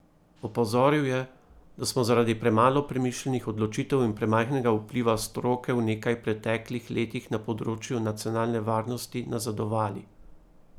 Opozoril je, da smo zaradi premalo premišljenih odločitev in premajhnega vpliva stroke v nekaj preteklih letih na področju nacionalne varnosti nazadovali.